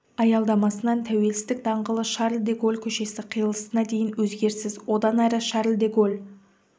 аялдамасынан тәуелсіздік даңғылы шарль де голль көшесі қиылысына дейін өзгеріссіз одан әрі шарль де голль